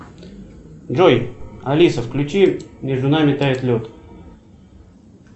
джой алиса включи между нами тает лед